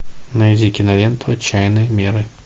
найди киноленту отчаянные меры